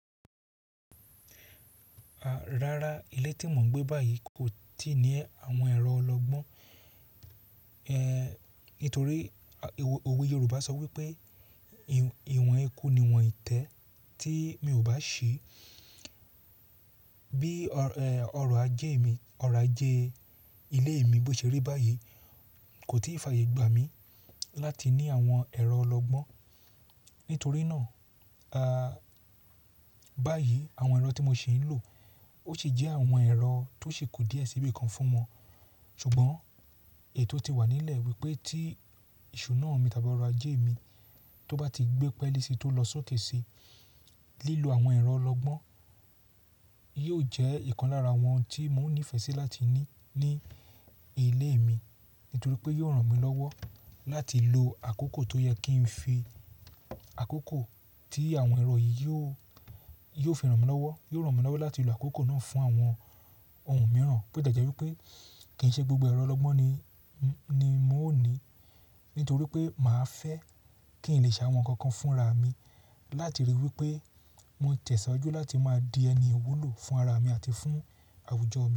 Rárá, ilé tí mò ń gbé báyìí kò tí ì ní àwọn ẹ̀rọ ọlọgbọ́n. Eh, nítorí òwe Yorùbá sọ wípé ìwọ̀n ekú ni ìwọ̀n ìtẹ́ tí mi ò bá ṣì. Bí ọ̀rọ̀ ajé mi, ọ̀rọ̀ ajé ilé mi bó ṣeré báyìí kò tí ì fààyè gbà mí láti ní àwọn ẹ̀rọ ọlọgbọ́n. Nítorí náà, a, báyìí àwọn ẹ̀rọ tí mo ṣì ń lò ó sì jẹ́ àwọn ẹ̀rọ tó ṣe kù díẹ̀ síbi kan fún wọn. Ṣùgbọ́n ètò ti wà nílẹ̀ wípé tí iṣu náà mi tàbí ọ̀rọ̀ ajé mi tó bá ti gbé pẹ́li sí tó lọ sókè sí lílo àwọn ẹ̀rọ ọlọgbọ́n, yóò jẹ́ ìkan lára wọn tí mò ń nífẹ̀ẹ́ sí láti ní ní ilé mi. Nítorí pé yóò ràn mí lọ́wọ́ láti lo àkókò tó yẹ kí n fi àkókò tí àwọn ẹ̀rọ yìí yóò, yóò fi ràn mí lọ́wọ́. Yóò ràn mí lọ́wọ́ láti lo àkókò náà fún àwọn ohun mìíràn. Bo ti ẹ́jẹ́ wípé kì ń ṣe gbogbo ẹ̀rọ ọlọgbọ́n ni, ni mò ń ní, nítorí pé mà á fẹ́ kí n lè ṣàwọn nǹkan kan fúnra mi. Láti rí wípé mò ń tẹ̀síwájú láti máa di ẹni wulò fún ara mi àti fún àwùjọ mi.